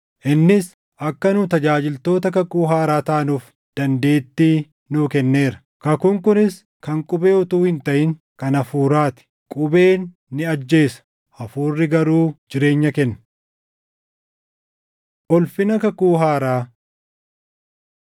Innis akka nu tajaajiltoota kakuu haaraa taanuuf dandeettii nuu kenneera; kakuun kunis kan qubee utuu hin taʼin kan Hafuuraa ti; qubeen ni ajjeesa; Hafuurri garuu jireenya kenna. Ulfina Kakuu Haaraa